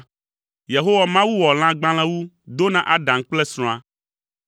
Yehowa Mawu wɔ lãgbalẽwu do na Adam kple srɔ̃a.